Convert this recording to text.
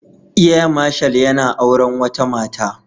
Air Marshal yana auren wata Mata